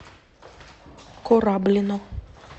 кораблино